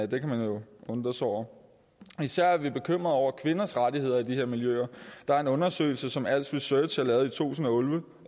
det kan man jo undre sig over især er vi bekymrede over kvinders rettigheder i de her miljøer der er en undersøgelse som als research har lavet i to tusind og